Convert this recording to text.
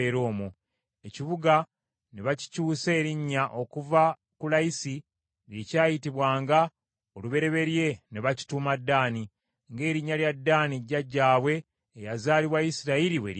Ekibuga ne bakikyusa erinnya okuva ku Layisi lye kyayitibwanga olubereberye ne bakituuma Ddaani, ng’erinnya lya Ddaani jjajjaabwe eyazaalibwa Isirayiri bwe lyali.